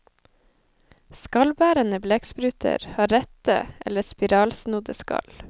Skallbærende blekkspruter har rette eller spiralsnodde skall.